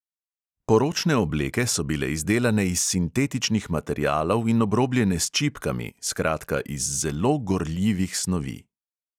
Poročne obleke so bile izdelane iz sintetičnih materialov in obrobljene s čipkami, skratka, iz zelo gorljivih snovi.